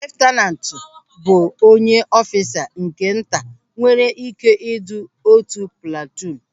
Leftanantu bụ onye ọfisa nke nta nwere ị́ké idu otu platuun.